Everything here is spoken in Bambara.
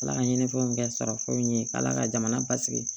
Ala ka ɲinifɛnw kɛ sarafu ye k' ala ka jamana basigi